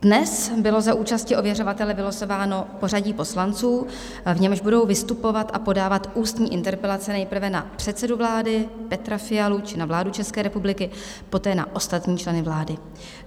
Dnes bylo za účasti ověřovatele vylosováno pořadí poslanců, v němž budou vystupovat a podávat ústní interpelace nejprve na předsedu vlády Petra Fialu či na vládu České republiky, poté na ostatní členy vlády.